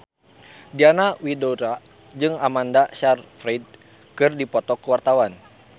Diana Widoera jeung Amanda Sayfried keur dipoto ku wartawan